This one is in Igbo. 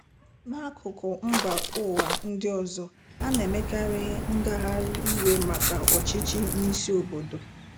N'akụkụ mba ụwa ndị ọzọ, ana-emekarị ngagharị iwe maka ọchịchị n'isi obodo.